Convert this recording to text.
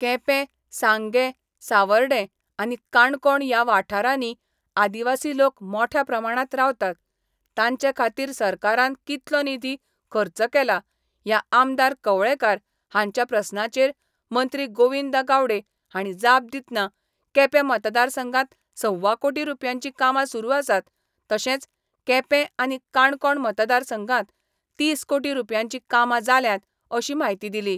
केंपे, सांगे, सावर्डे आनी काणकोण या वाठारांनी आदिवासी लोक मोठ्या प्रमाणांत रावतात तांचे खातीर सरकारान कितलो निधी खर्च केला या आमदार कवळेकार हांच्या प्रस्नाचेर मंत्री गोविंद गावडे हांणी जाप दितना केंपे मतदारसंघात सव्वा कोटी रूपयांची कामा सुरू आसात तशेंच केंपें आनी काणकोण मतदारसंघात तीस कोटी रूपयांची कामां जाल्यांत अशी म्हायती दिली.